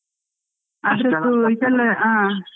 .